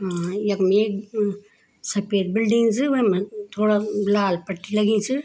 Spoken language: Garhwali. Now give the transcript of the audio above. अ यखम एक सफ़ेद बिल्डिंग च वैमा थोडा लाल पट्टी लगीं च।